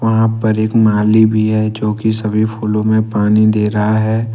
वहां पर एक माली भी है जो की सभी फूलों में पानी दे रहा है।